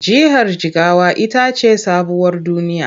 Jihar Jigawa ita ce sabuwar duniya.